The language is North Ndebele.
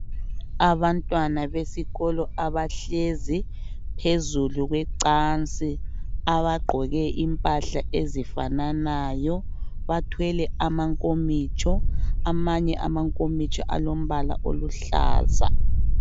Abantwana besikolo abahlezi phezulu kwecansi abagqoke impahla ezifananayo bathwele amankomitsho amanye amankomitsho alombala oluhlaza.